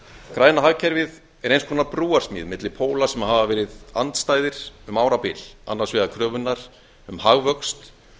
græna hagkerfið er eins konar brúarsmíði milli póla sem hafa verið andstæðir um árabil annars vegar kröfunnar um hagvöxt